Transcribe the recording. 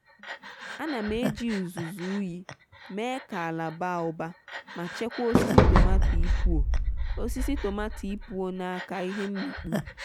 a na m eji uzuzu ụyi mee ka ala baa ụba ma chekwaa osisi tomaato ipụọ osisi tomaato ipụọ n'aka ihe mmịkpụ.